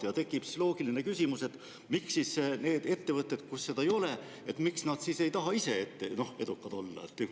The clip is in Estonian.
Siit tekib loogiline küsimus, et miks siis ettevõtted, kus seda ei ole, ei taha edukad olla?